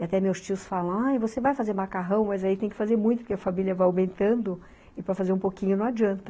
E até meus tios falam, ah, você vai fazer macarrão? mas aí tem que fazer muito, porque a família vai aumentando, e para fazer um pouquinho não adianta.